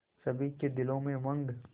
सभी के दिलों में उमंग